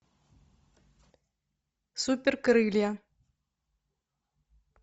супер крылья